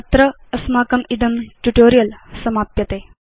अत्र अस्माकम् इदं ट्यूटोरियल् समाप्यते